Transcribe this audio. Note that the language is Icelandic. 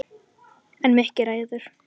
En Mikki ræður.